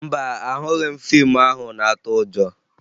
Mba, ahụghị m fiimu ahụ na-atụ ụjọ